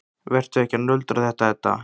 Vertu ekki að nöldra þetta, Edda.